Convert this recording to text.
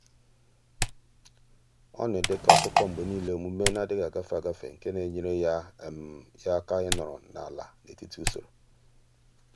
ọ́ nà-èdèkọ́ ákụ́kọ́ mgbe nìile ọ́mụ́mé nà-adị́ghị́ ágafe ágafe nke nà-ènyéré yá yá áká ị́nọ́rọ́ n’álá n’etiti usoro.